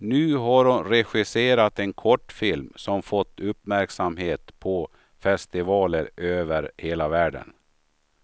Nu har hon regisserat en kortfilm som fått uppmärksamhet på festivaler över hela världen.